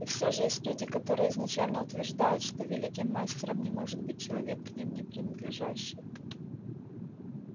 и всё же есть люди которые изначально утверждают что великим мастером не может быть человек к ним не принадлежащий